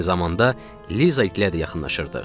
Eyni zamanda Liza ikilərə də yaxınlaşırdıq.